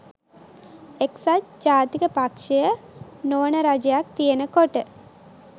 එක්සත් ජාතික පක්ෂය නොවන රජයක් තියෙනකොට